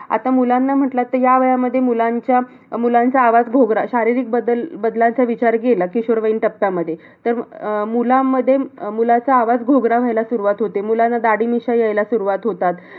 आता मुलांना म्हटलं तर ह्या वयामध्ये मुलांच्या अं मुलांचा आवाज घोगरा. शारीरिक बदल बदलांचा विचार केला की किशोरवयीन टप्प्यामध्ये तर अं मुलामध्ये अं मुलाचा आवाज घोगरा व्हायला सुरवात होते. मुलांना दाढी-मिश्या यायला सुरवात होतात.